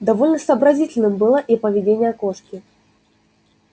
довольно сообразительным было и поведение кошки